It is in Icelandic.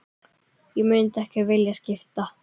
Ég myndi ekki vilja skipta.